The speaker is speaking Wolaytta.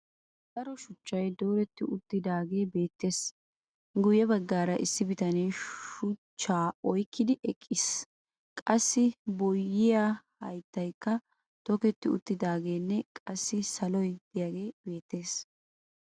Daro shuchchay dooretti uttiidaagee beettes. Guyye baggaara issi bitane shuchchaa oyikkidi eqqis. Qassi boyiyaa hayittayikka toketi uttiidaageenne qassikka saloy diyagee beettes.